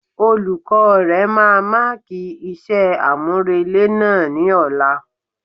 Olukọ̀ọ́ rẹ̀ máa máàkì iṣẹ́ àmúrelé náà ni ọ̀la.